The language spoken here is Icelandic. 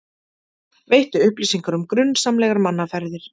Veiti upplýsingar um grunsamlegar mannaferðir